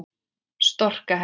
Storka henni.